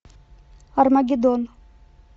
армагеддон